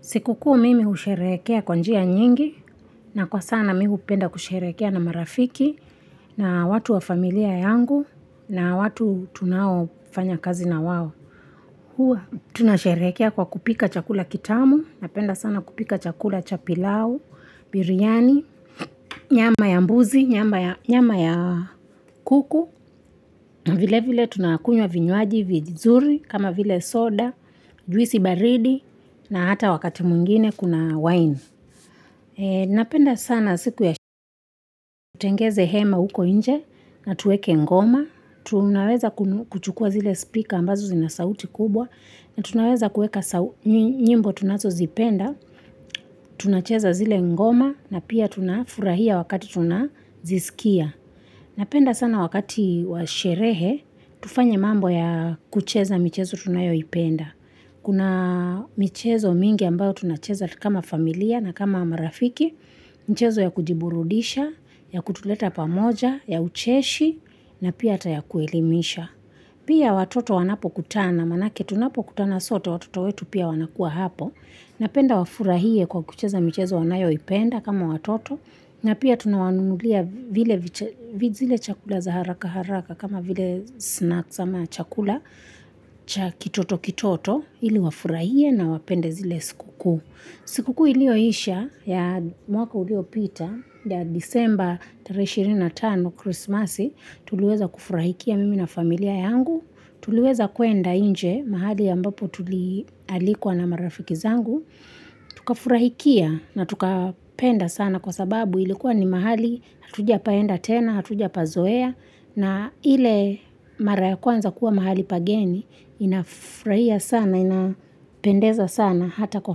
Sikukuu mimi husherekea kwa njia nyingi, na kwa sana mimi hupenda kusherehekea na marafiki, na watu wa familia yangu, na watu tunao fanya kazi na wao. Huwa, tunasherehekea kwa kupika chakula kitamu, napenda sana kupika chakula cha pilau, biryani, nyama ya mbuzi, nyama ya kuku, na vile vile tunakunywa vinywaji vizuri, kama vile soda, juisi baridi, na hata wakati mwingine kuna wine. Napenda sana siku ya siku. Tengeze hema uko nje na tuweke ngoma. Tunaweza kuchukua zile speaker ambazo zinasauti kubwa na tunaweza kuweka nyimbo tunazo zipenda. Tunacheza zile ngoma na pia tunafurahia wakati tunazisikia. Napenda sana wakati washerehe, tufanye mambo ya kucheza michezo tunayoipenda. Kuna michezo mingi ambayo tunacheza kama familia na kama marafiki. Michezo ya kujiburudisha, ya kutuleta pamoja, ya ucheshi, na pia ata ya kuelimisha. Pia watoto wanapokutana, manake tunapokutana sote watoto wetu pia wanakua hapo. Napenda wafurahie kwa kucheza michezo wanayoipenda kama watoto. Na pia tunawanunulia vile vyakula za haraka haraka kama vile snacks ama chakula kitoto kitoto. Ili wafurahie na wapende zile sikuku. Sikuku iliyoisha ya mwaka uliopita pya December 25 Christmasi tuliweza kufurahikia mimi na familia yangu, tuliweza kuenda nje mahali ambapo tulialikwa na marafiki zangu. Tukafurahikia na tukapenda sana kwa sababu ilikuwa ni mahali Hatuja paenda tena, hatuja pazoea na ile mara ya kwanza kuwa mahali pageni Inafurahia sana, inapendeza sana hata kwa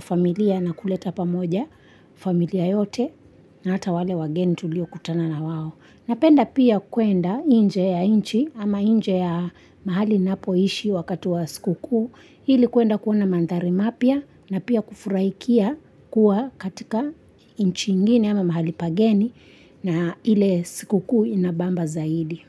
familia na kuleta pamoja familia yote na hata wale wageni tulio kutana na wao Napenda pia kuenda nje ya nchi ama nje ya mahali ninapoishi wakati wa sikukuu ili kuenda kuona mandhari mapya na pia kufuraia kuwa katika nchi ingine mahali pageni na ile sikukuu ina bamba zaidi.